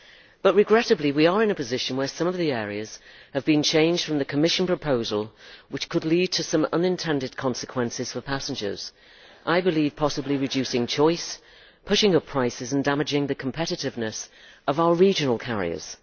But regrettably, we are in a position where some of the areas have been changed from the Commission proposal, which could lead to some unintended consequences for passengers by, I believe, possibly reducing choice, putting up prices and damaging the competitiveness of our regional carriers.